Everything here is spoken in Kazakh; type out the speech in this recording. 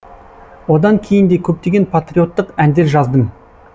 одан кейін де көптеген патриоттық әндер жаздым